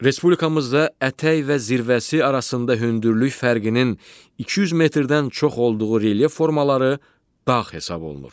Respublikamızda ətək və zirvəsi arasında hündürlük fərqinin 200 metrdən çox olduğu relyef formaları dağ hesab olunur.